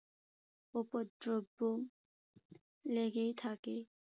উপদ্রবও লেগেই থাকে।